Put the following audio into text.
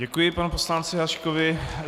Děkuji panu poslanci Haškovi.